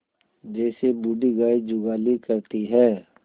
जैसे बूढ़ी गाय जुगाली करती है